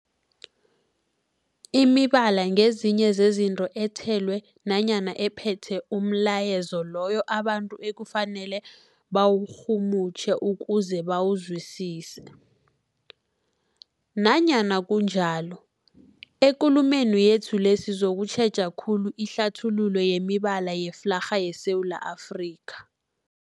Imibala ngezinye zezinto ethelwe nanyana ephethe umlayezo loyo abantu ekufanele bawurhumutjhe ukuze bawuzwisise. Nanyana kunjalo, ekulumeni yethu le sizokutjheja khulu ihlathululo yemibala yeflarha yeSewula Afrika.